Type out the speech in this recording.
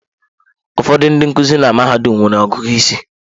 Ụfọdụ ndị nkuzi na mahadum nwere ọgụgụ isi.